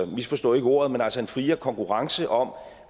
misforstå ikke ordet men altså en friere konkurrence om